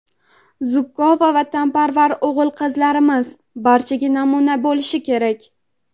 zukko va vatanparvar o‘g‘il-qizlarimiz barchaga namuna bo‘lishi kerak.